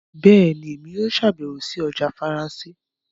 Bẹẹni, Èmí yóò ṣabẹwo sí ọjà Faransé